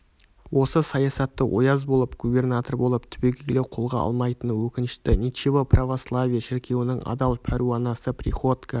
осы саясатты ояз болып губернатор болып түбегейлі қолға алмайтыны өкінішті ничего православие шіркеуінің адал пәруанасы приходько